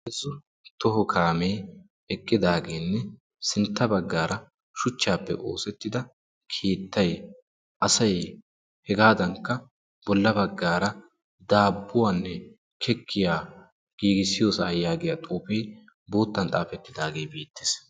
Heezzu toho kaame eqqidaagenne sintta baggaara shuchchappe oosettida keettay asay hegadankka bolla baggaara daabbuwanne kikkiya giigissiyoosa giya xuufe bootan xaafetidaagee beettees.